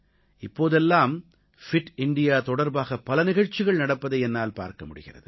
இப்போதெல்லாம் fit India தொடர்பாக பல நிகழ்ச்சிகள் நடப்பதை என்னால் பார்க்க முடிகிறது